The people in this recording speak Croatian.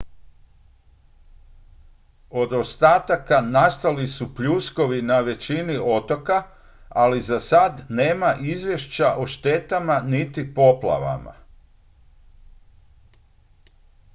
od ostataka nastali su pljuskovi na većini otoka ali za sad nema izvješća o štetama niti poplavama